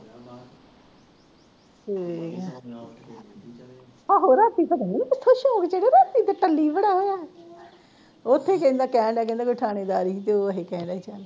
ਤੇ ਠੀਕ ਆ ਆਹੋ ਰਾਤੀਂ ਪਤਾ ਨੀ ਕਿੱਥੋਂ ਸ਼ੋਰ ਚੜ੍ਹਿਆ ਰਾਤੀ ਤਾ ਟੈਲੀ ਬੜਾ ਹੋਇਆ ਉੱਥੇ ਕਹਿੰਦਾ ਜਿਨ੍ਹਾਂ ਦੀ ਠਾਣੀਦਾਰੀ ਤੇ ਉਹ ਕਹਿੰਦਾ ਸੀ ਸਾਨੂੰ